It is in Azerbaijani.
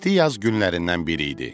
İsti yay günlərindən biri idi.